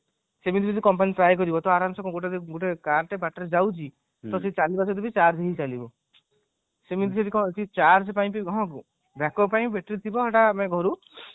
ସେମିତି ବି ଯଦି company try କରିବ ତ ଆରମ ସେ ଗୋଟେ car ଟେ ବାଟରେ ଯାଉଛି ତ ସେ charge ରେ ହିଁ ଚାଲିବ ସେମିତି କଣ ହଉଛି charge ପାଇଁ ବି backup ପାଇଁ battery ଥିବ ଆମର ଘରୁ